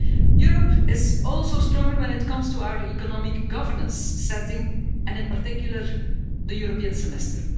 Europe is also stronger when it comes to our economic governance setting, and in particular the European Semester.